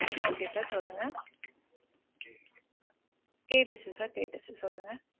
Okay sir சொல்லுங்க. கேட்டிச்சு sir கேட்டிச்சு சொல்லுங்க.